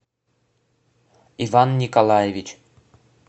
иван николаевич